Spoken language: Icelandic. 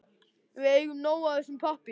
Við eigum nóg af þessum pappír.